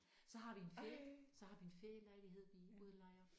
Så har vi en ferie så har vi en ferielejlighed vi udlejer